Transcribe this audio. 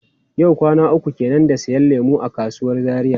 Yau kwana uku kenan da siyan lemu a kasuwar Zaria.